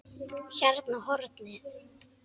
Hérna á hornið.